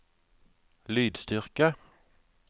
lydstyrke